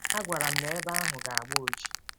A gwara m na ebe ahụ ga-agba oji! ”